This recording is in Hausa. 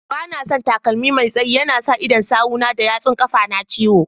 Banason takalmi Mai tsaye, yana sa idon sawu na da yatsun kafa na ciwo.